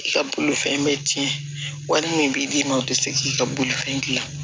I ka bolofɛn bɛ tiɲɛ wari min bɛ d'i ma o tɛ se k'i ka bolifɛn gilan